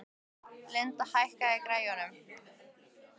Lindi, hækkaðu í græjunum.